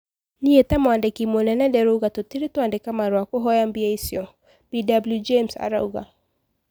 ",Nie ta Mwandĩkĩ munene ndirauga tutirĩ twandika marũa kũhoya bia icio",Bw James arauga.